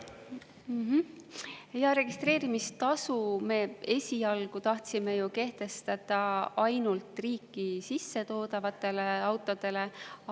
Jaa, registreerimistasu me esialgu tahtsime kehtestada ainult riiki sissetoodavatele autodele.